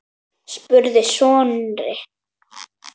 spurði Snorri.